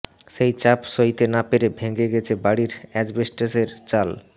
সেই চাপ সইতে না পেরে ভেঙে গেছে বাড়ির অ্যাসবেস্টসের চাল